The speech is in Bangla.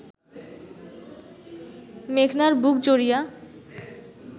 মেঘনার বুক জুড়িয়া